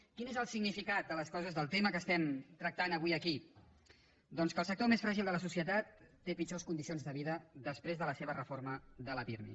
quin és el significat de les coses del tema que estem tractant avui aquí doncs que el sector més fràgil de la societat té pitjors condicions de vida després de la seva reforma de la pirmi